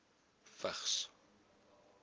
vigs